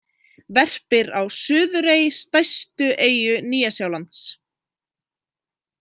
Verpir á Suðurey, stærstu eyju Nýja-Sjálands.